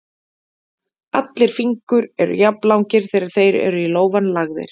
Allir fingur eru jafnlangir þegar þeir eru í lófann lagðir.